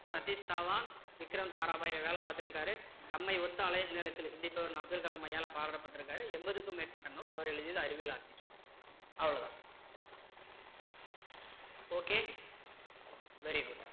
சதீஸ் தவான் விக்ரம் சாராபாய்ல வேலை பார்த்து இருக்காரு தம்மை ஒத்த அலை நீளத்தில் சிந்திப்பவர் என்று அப்துல் கலாம் ஐயாவால பாராட்டபட்டிருக்கிறாரு எண்பதுக்கும் மேற்பட்ட நூல் அவர் எழுதியது அறிவியல் ஆத்திச்சூடி அவ்வளோதான் okay very good